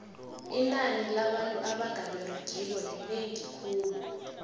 inani labantu abanga beregiko linengi khulu